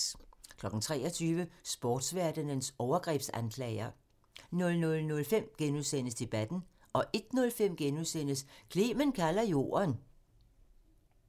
23:00: Sportverdenens overgrebsanklager 00:05: Debatten * 01:05: Clement kalder jorden *